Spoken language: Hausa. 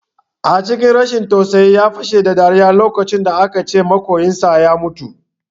A cikin rashin tausayi ya fashe da dariya lokacin da aka ce maƙoyinsa ya mutu